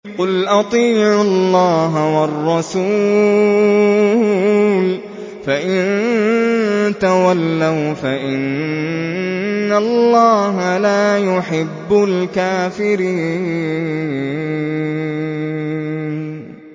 قُلْ أَطِيعُوا اللَّهَ وَالرَّسُولَ ۖ فَإِن تَوَلَّوْا فَإِنَّ اللَّهَ لَا يُحِبُّ الْكَافِرِينَ